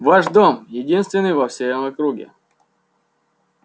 ваш дом единственный во всей округе